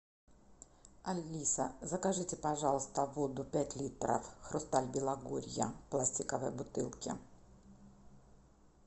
алиса закажите пожалуйста воду пять литров хрусталь белогорья в пластиковой бутылке